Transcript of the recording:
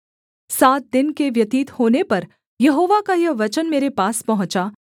सात दिन के व्यतीत होने पर यहोवा का यह वचन मेरे पास पहुँचा